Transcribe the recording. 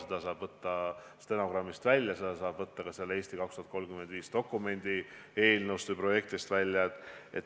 Selle saab välja võtta stenogrammist, selle saab välja võtta "Eesti 2035" dokumendi projektist.